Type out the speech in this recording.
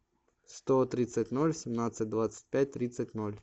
сто тридцать ноль семнадцать двадцать пять тридцать ноль